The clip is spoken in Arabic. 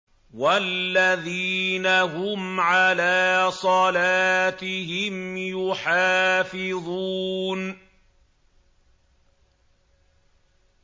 وَالَّذِينَ هُمْ عَلَىٰ صَلَاتِهِمْ يُحَافِظُونَ